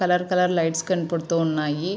Colour colour lights కనబడుతున్నాయి.